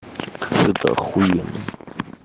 это ахуено